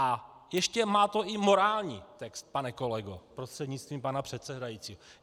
A ještě to má i morální text, pane kolego prostřednictvím pana předsedajícího.